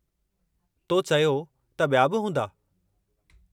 तो चयो त ॿिया बि हूंदा?